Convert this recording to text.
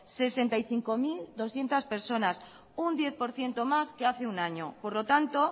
sesenta y cinco mil doscientos personas un diez por ciento más que hace un año por lo tanto